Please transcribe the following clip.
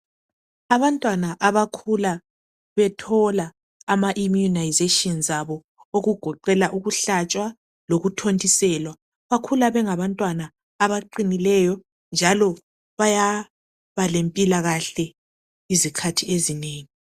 Abantwana abakhula bethola ama immunisations abo okugoqela ukuhlatshwa lokuthontiselwa bakhula bengabantwana abaqinileyo njalo bayabalempilakahle izikhathi ezinengi.